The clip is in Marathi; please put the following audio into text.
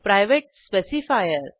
private specifier